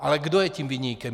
Ale kdo je tím viníkem?